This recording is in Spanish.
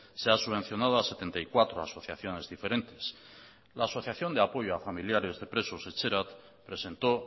se ha subvencionado a setenta y cuatro asociaciones diferentes la asociación de apoyo a familiares de presos etxerat presentó